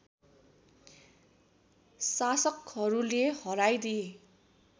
शासकहरूले हराइदिए